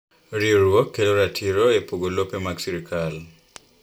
Riwruok kelo ratiro epogo lope mag sirkal.